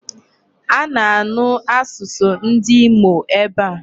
A na-anu asụsụ ndị Imo ebe a.